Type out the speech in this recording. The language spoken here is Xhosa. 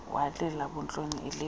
walila buntloni elilela